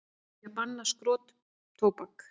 Vilja banna skrotóbak